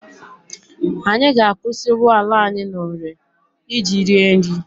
Anyị ga-akwụsị ụgbọala anyị n'ore iji rie nri.